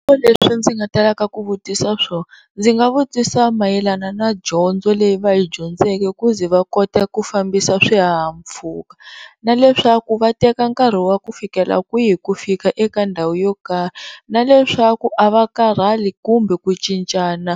Swivutiso leswi ndzi nga talaka ku vutisa swona ndzi nga vutisa mayelana na dyondzo leyi va yi dyondzeke ku ze va kote ku fambisa swihahampfhuka na leswaku va teka nkarhi wa ku fikela kwihi ku fika eka ndhawu yo karhi na leswaku a va karhali kumbe ku cincana